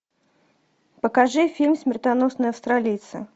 покажи фильм смертоносные австралийцы